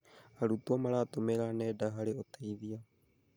Arutwo maratũmĩra nenda harĩ ũteithio.